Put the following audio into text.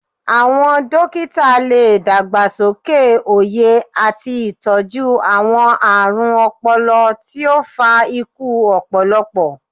Awọn dokita le dagbasoke oye ati itọju awọn aarun ọpọlọ ti o fa iku ọpọlọpọ